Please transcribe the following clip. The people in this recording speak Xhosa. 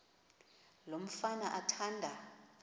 lo mfana athanda